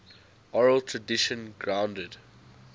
oral tradition grounded